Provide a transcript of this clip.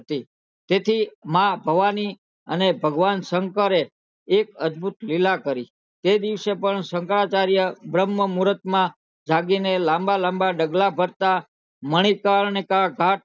તેથી માં ભવાની અને ભગવાન શંકર એ એક અદભુત લીલા કરી તે દિવસે પણ શંકરાચાર્ય બ્રહ્મ મુહર્ત માં જાગી ના લાંબા લાંબા ડગલાં ભરતા મણિકર્ણિકા થી